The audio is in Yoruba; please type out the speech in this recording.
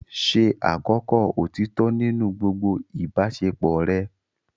Ṣe àkọ́kọ́ òtítọ́ nínú gbogbo ìbáṣepọ̀ rẹ.